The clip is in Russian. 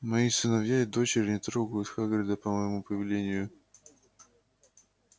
мои сыновья и дочери не трогают хагрида по моему повелению